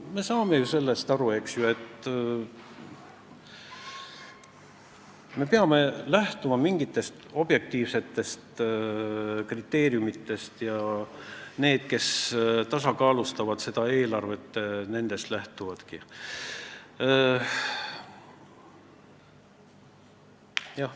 Me saame ju sellest aru, et me peame lähtuma mingitest objektiivsetest kriteeriumitest ja need, kes seda eelarvet tasakaalustavad, nendest lähtuvadki.